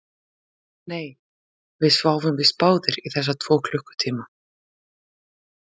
Nei, við sváfum víst báðir í þessa tvo klukkutíma